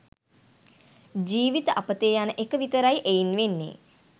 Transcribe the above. ජීවිත අපතේ යන එක විතරයි එයින් වෙන්නේ.